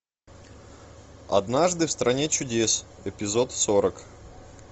однажды в стране чудес эпизод сорок